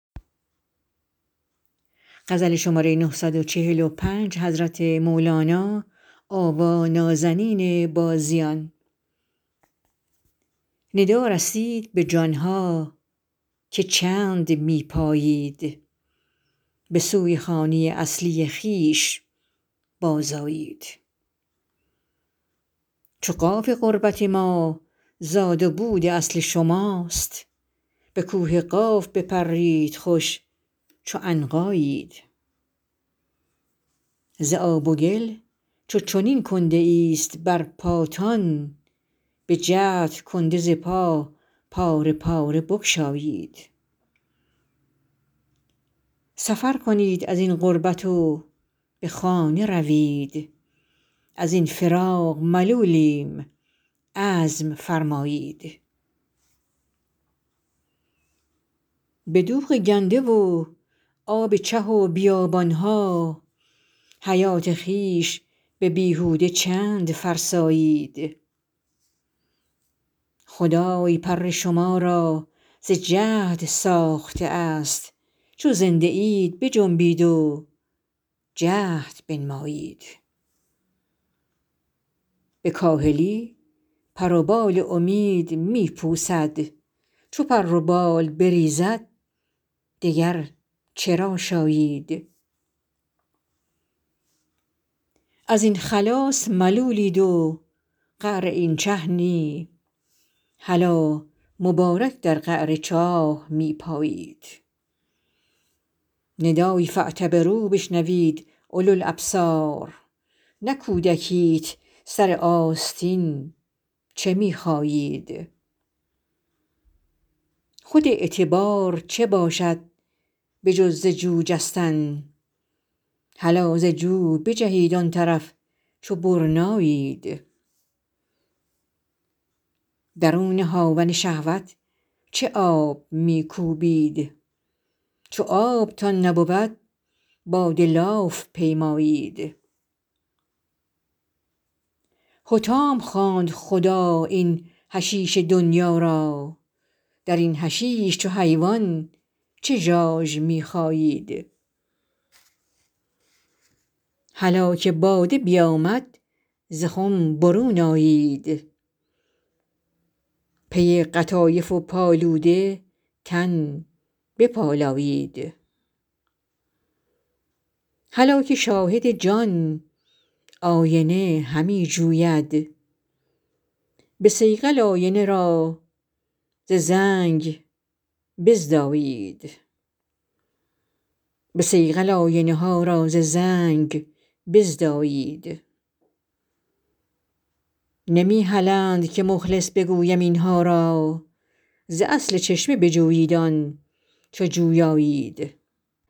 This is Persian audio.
ندا رسید به جان ها که چند می پایید به سوی خانه اصلی خویش بازآیید چو قاف قربت ما زاد و بود اصل شماست به کوه قاف بپرید خوش چو عنقایید ز آب و گل چو چنین کنده ایست بر پاتان بجهد کنده ز پا پاره پاره بگشایید سفر کنید از این غربت و به خانه روید از این فراق ملولیم عزم فرمایید به دوغ گنده و آب چه و بیابان ها حیات خویش به بیهوده چند فرسایید خدای پر شما را ز جهد ساخته است چو زنده اید بجنبید و جهد بنمایید به کاهلی پر و بال امید می پوسد چو پر و بال بریزد دگر چه را شایید از این خلاص ملولید و قعر این چه نی هلا مبارک در قعر چاه می پایید ندای فاعتبروا بشنوید اولوالابصار نه کودکیت سر آستین چه می خایید خود اعتبار چه باشد به جز ز جو جستن هلا ز جو بجهید آن طرف چو برنایید درون هاون شهوت چه آب می کوبید چو آبتان نبود باد لاف پیمایید حطام خواند خدا این حشیش دنیا را در این حشیش چو حیوان چه ژاژ می خایید هلا که باده بیامد ز خم برون آیید پی قطایف و پالوده تن بپالایید هلا که شاهد جان آینه همی جوید به صیقل آینه ها را ز زنگ بزدایید نمی هلند که مخلص بگویم این ها را ز اصل چشمه بجویید آن چو جویایید